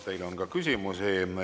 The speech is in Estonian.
Teile on ka küsimusi.